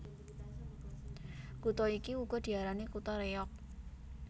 Kutha iki uga diarani kutha Réyog